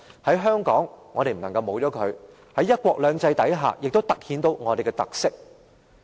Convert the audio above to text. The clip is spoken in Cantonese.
在香港，我們不能沒有它，而在"一國兩制"下，亦突顯出我們的特色。